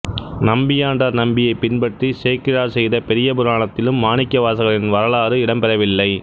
நம்பியாண்டார் நம்பியைப் பின்பற்றிச் சேக்கிழார் செயத பெரியபுராணத்திலும் மாணிக்க வாசகரின் வரலாறு இடம்பெறவில்லை